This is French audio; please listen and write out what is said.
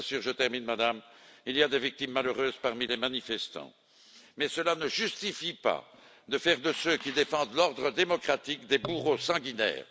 Bien sûr, il y a des victimes malheureuses parmi les manifestants, mais cela ne justifie pas de faire de ceux, qui défendent l'ordre démocratique des bourreaux sanguinaires.